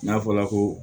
N'a fɔla ko